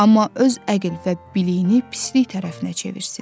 Amma öz əql və biliyini pislik tərəfinə çevirsin.